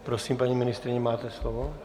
Prosím, paní ministryně, máte slovo.